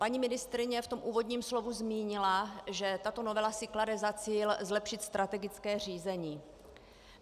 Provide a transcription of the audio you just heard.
Paní ministryně ve svém úvodním slovu zmínila, že tato novela si klade za cíl zlepšit strategické řízení.